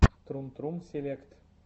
трум трум селект